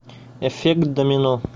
эффект домино